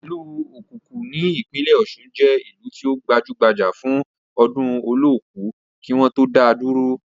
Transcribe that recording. Ìlú okuku ní ìpínlẹ̀ ọ̀ṣun jẹ́ ìlú tí ó gbajúbajà fún ọdún olooku kí wọ́n tó dáa dúró.